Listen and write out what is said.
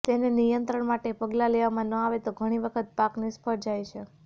તેને નિયંત્રણ માટે પગલાં લેવામાં ન આવે તો ઘણી વખત પાક નિષ્ફળ પણ જાય છે